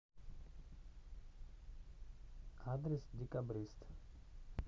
адрес декабрист